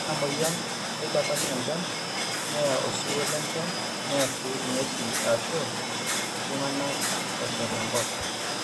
ore ina mweyian neidapash enchan , neya osiwuo lenjan neya sii ing'wesi aashu tung'anak eshal enkop